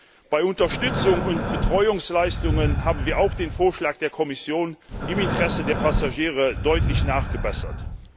Auch bei Unterstützungs und Betreuungsleistungen haben wir den Vorschlag der Kommission im Interesse der Passagiere deutlich nachgebessert.